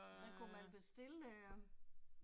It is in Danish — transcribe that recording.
Men kunne man bestille øh?